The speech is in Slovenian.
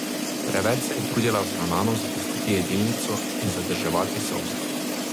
Preveč se je trudila vzravnano zapustiti jedilnico in zadrževati solze.